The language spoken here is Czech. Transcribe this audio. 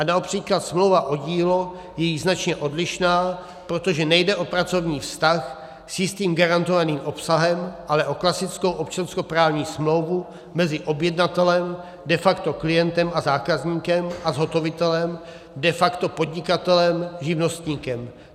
A například smlouva o dílo je již značně odlišná, protože nejde o pracovní vztah s jistým garantovaným obsahem, ale o klasickou občanskoprávní smlouvu mezi objednatelem, de facto klientem a zákazníkem, a zhotovitelem, de facto podnikatelem, živnostníkem.